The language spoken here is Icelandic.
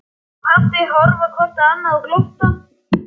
Mamma og pabbi horfa hvort á annað og glotta.